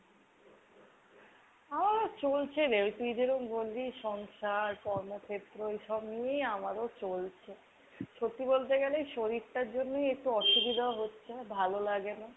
আমার ও চলছে রে। তুই যেরম বললি সংসার কর্মক্ষেত্র এইসব নিয়ে আমার ও চলছে। সত্যি বলতে গেলে কি শরীরটার জন্যেই একটু অসুবিধা হচ্ছে। ভালো লাগে না।